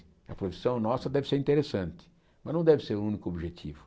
A profissão nossa deve ser interessante, mas não deve ser o único objetivo.